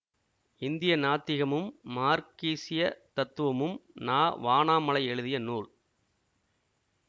இந்திய நாத்திகமும் மார்க்கீசியத் தத்துவமும் நா வானாமலை எழுதிய நூல்